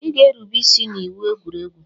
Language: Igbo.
"Ị ga-erube isi n'iwu egwuregwu"